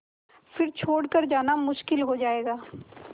फिर छोड़ कर जाना मुश्किल हो जाएगा